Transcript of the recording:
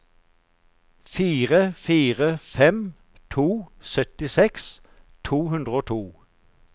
fire fire fem to syttiseks to hundre og to